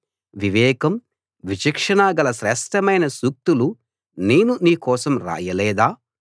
వివేకం విచక్షణ గల శ్రేష్ఠమైన సూక్తులు నేను నీకోసం రాయలేదా